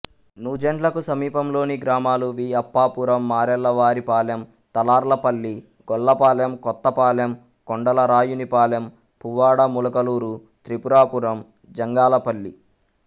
నూజెండ్లకు సమీపంలోని గ్రామాలు వి అప్పాపురం మారెళ్ళవారి పాలెం తలార్లపల్లి గొల్లపాలెం కొత్తపాలెం కొండలరాయునిపాలెం పువ్వాడ ములకలూరు త్రిపురాపురం జంగాలపల్లి